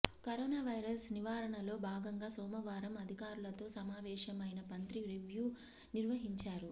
corona virus నివారణలో భాగంగా సోమవారం అధికారులతో సమావేశమైన మంత్రి రివ్యూ నిర్వహించారు